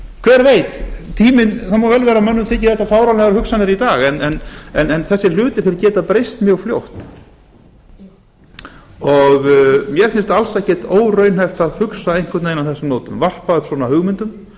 hver veit það má vel vera að mönnum þyki þetta fáránlegar hugsanir í dag en þessir hlutir geta breyst mjög fljótt mér finnst alls ekkert óraunhæft að hugsa einhvern veginn á þessum nótum varpa